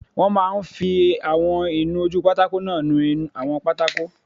Wọ́n máa n fi àwọn ìnu-ojúpátákó náà nu àwọn pátákó